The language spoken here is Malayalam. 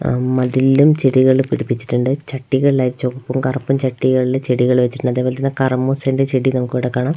അഹ് മതിലിലും ചെടികള് പിടിപ്പിച്ചിട്ടുണ്ട് ചട്ടികളിലായി ചൊവപ്പും കറുപ്പും ചട്ടികളില് ചെടികള് വെച്ചിട്ടുണ്ട് അതെപോലെത്തന്നെ കർമൂസേന്റെ ചെടി നമുക്കിവിടെ കാണാം.